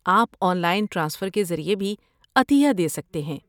آپ online transfer کے ذریعے بھی عطیہ دے سکتے ہیں۔